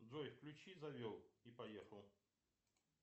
джой включи завел и поехал